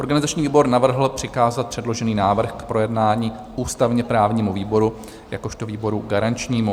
Organizační výbor navrhl přikázat předložený návrh k projednání ústavně-právnímu výboru jakožto výboru garančnímu.